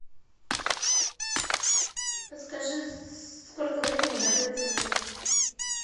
подскажи сколько времени готовится обед